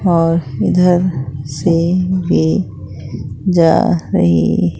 और इधर से भी जा रही--